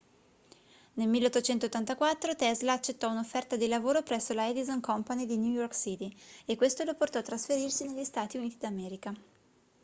nel 1884 tesla accettò un'offerta di lavoro presso la edison company di new york city e questo lo portò a trasferirsi negli stati uniti d'america